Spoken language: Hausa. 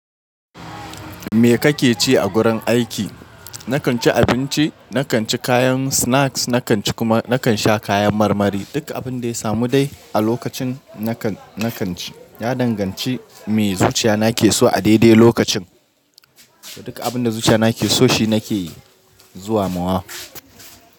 Me kake ci a gurin aiki? Nakan ci abinci, nakan ci kayan snacks, nakan sha kayan marmari. Duk abin da ya samu dai a lokacin nakan ci. Ya danganci me zuciya nake so a daidai lokacin. Duk abin da zuciyana yake so shi nake zuwa mawa.